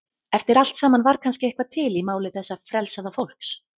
Eftir allt saman var kannski eitthvað til í máli þessa frelsaða fólks.